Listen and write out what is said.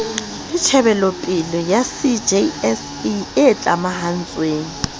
le tjhebelopele cjs e tlamahantsweng